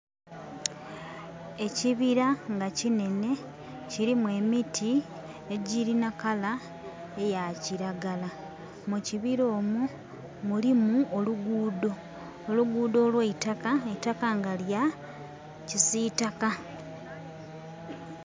Ekibira nga kinhenhe, kilimu emiti egyirina colour eya kiragala. Mu kibira omwo mulimu oluguudho. Oluguudho olw'eitaka, eitaka nga kya kisiitaka.